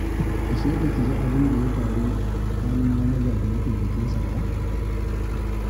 Ashe ba ki ji abin da ya faru tsakanin manaja da mataimakinsa ba?